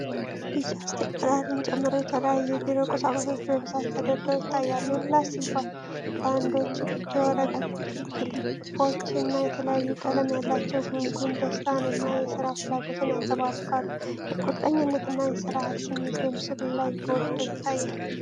ቢጫ ስቴፕለርን ጨምሮ የተለያዩ የቢሮ ቁሳቁሶች በብዛት ተደርድረው ይታያሉ። የላስቲክ ባንዶች፣ የወረቀት ክሊፖች እና የተለያዩ ቀለም ያላቸው ጉንጉን ደስታን እና የሥራ ፍላጎትን ያንጸባርቃሉ። የቁርጠኝነት እና የሥርዓት ስሜት በምስሉ ላይ ጎልቶ ይታያል።